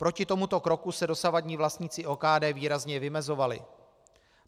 Proti tomuto kroku se dosavadní vlastníci OKD výrazně vymezovali.